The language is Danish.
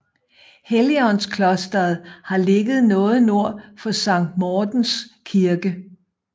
Helligåndsklosteret har ligget noget nord for Sankt Mortens Kirke